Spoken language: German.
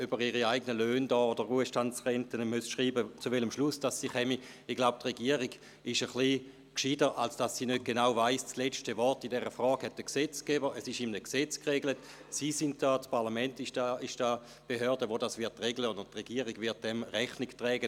Ich bin auch der Meinung, dass ein paar Punkte enthalten sind, welche schon zu stark geregelt sind und sicher überprüft werden müssen.